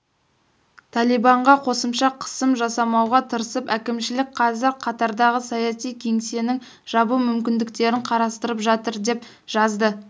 талибанға қосымша қысым жасамауға тырысып әкімшілік қазір катардағы саяси кеңсесін жабу мүмкіндіктерін қарастырып жатыр деп жазды